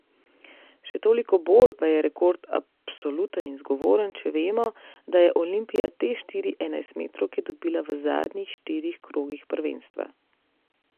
Še toliko bolj pa je rekord absoluten in zgovoren, če vemo, da je Olimpija te štiri enajstmetrovke dobila v zadnjih štirih krogih prvenstva.